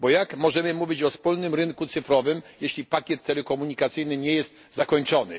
Bo jak możemy mówić o wspólnym rynku cyfrowym, jeśli pakiet telekomunikacyjny nie jest zakończony.